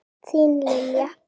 Þín Lilja.